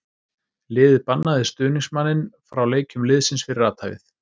Liðið bannaði stuðningsmanninn frá leikjum liðsins fyrir athæfið.